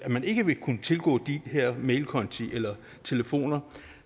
at man ikke vil kunne tilgå de her mailkonti eller telefoner